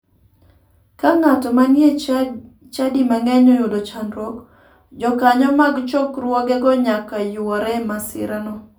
Ka ng'ato ma ni e chadi mang'eny oyudo chandruok, jokanyo mag chokruogego nyaka yuore e masirano.